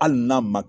Hali n'a ma